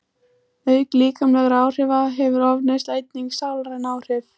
Auk líkamlegra áhrifa hefur ofneysla einnig sálræn áhrif.